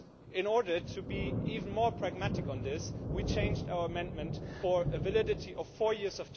In order to be even more pragmatic on this, we have changed our amendment to a validity of 4 years.